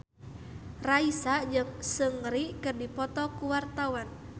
Raisa jeung Seungri keur dipoto ku wartawan